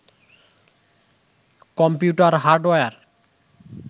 computer hardware